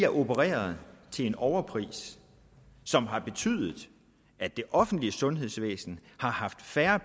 opereret til en overpris som har betydet at det offentlige sundhedsvæsen har haft færre